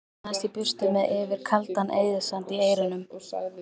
Laumaðist í burtu með Yfir kaldan eyðisand í eyrunum.